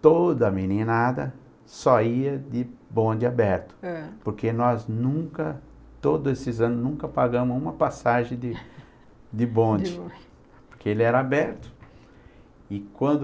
toda a meninada só ia de bonde aberto, ãh, porque nós nunca, todos esses anos, nunca pagamos uma passagem de de bonde, Porque ele era aberto, e quando...